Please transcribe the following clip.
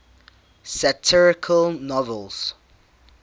satirical novels